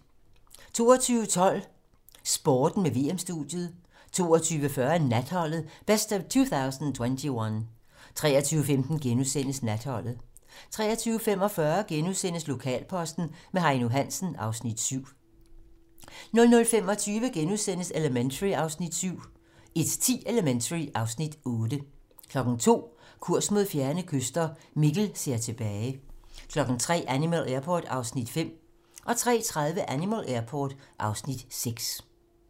22:12: Sporten med VM-studiet 22:40: Natholdet - best of 2021 23:15: Natholdet * 23:45: Lokalposten med Heino Hansen (Afs. 7)* 00:25: Elementary (Afs. 7)* 01:10: Elementary (Afs. 8) 02:00: Kurs mod fjerne kyster - Mikkel ser tilbage 03:00: Animal Airport (Afs. 5) 03:30: Animal Airport (Afs. 6)